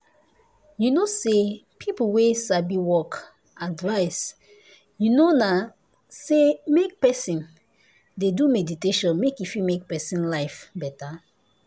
you know say people wey sabi work advice you know na say make person dey do meditation make e fit make person life better.